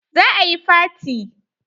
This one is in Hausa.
Za a yi faty.